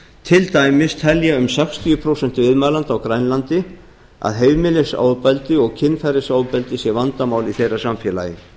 til dæmis telja um sextíu prósent viðmælenda á grænlandi að heimilisofbeldi og kynferðisofbeldi sé vandamál í þeirra samfélagi